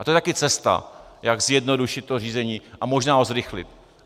A to je taky cesta, jak zjednodušit to řízení a možná ho zrychlit.